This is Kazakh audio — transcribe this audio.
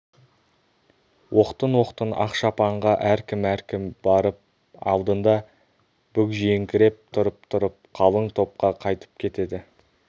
оқтын-оқтын ақ шапанға әркім-әркім барып алдында бүгжиіңкіреп тұрып-тұрып қалың топқа қайтып кетеді